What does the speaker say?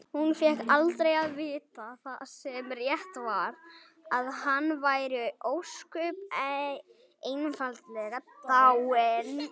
Hún fékk aldrei að vita það sem rétt var: að hann væri ósköp einfaldlega dáinn.